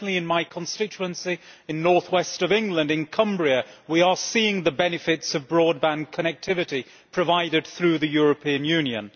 Certainly in my constituency in the north west of England, in Cumbria, we are seeing the benefits of broadband connectivity provided through the European Union.